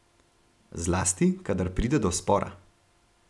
Zlasti, kadar pride do spora.